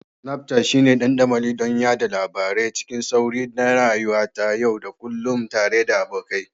Snapchat shine dandamali don yada labarai cikin sauri na rayuwata ta yau da kullun tare da abokai.